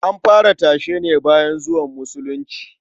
An fara tashe ne bayan zuwan Musulunci.